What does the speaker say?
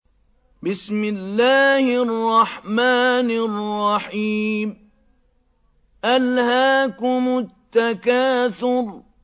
أَلْهَاكُمُ التَّكَاثُرُ